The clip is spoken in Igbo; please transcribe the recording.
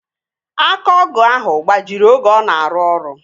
Aka ọgụ ahụ gbajiri oge ọ na-arụ ọrụ